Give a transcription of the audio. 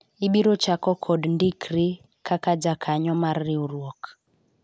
ibiro chako kod ndikri kaka jakanyo mar riwruok